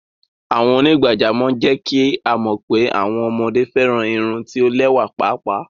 Awọn onígbàjàmọ̀ jẹ́ kí a mọ pé awọn ọmọde fẹ́ran irùn tí o lẹwa páápáá.